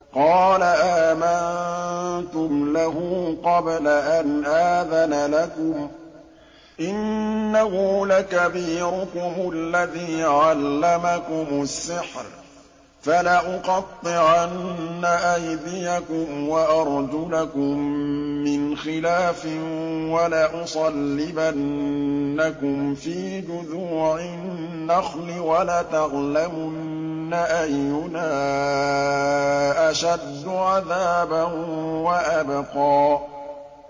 قَالَ آمَنتُمْ لَهُ قَبْلَ أَنْ آذَنَ لَكُمْ ۖ إِنَّهُ لَكَبِيرُكُمُ الَّذِي عَلَّمَكُمُ السِّحْرَ ۖ فَلَأُقَطِّعَنَّ أَيْدِيَكُمْ وَأَرْجُلَكُم مِّنْ خِلَافٍ وَلَأُصَلِّبَنَّكُمْ فِي جُذُوعِ النَّخْلِ وَلَتَعْلَمُنَّ أَيُّنَا أَشَدُّ عَذَابًا وَأَبْقَىٰ